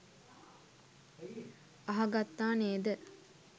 අහගත්තා නේද?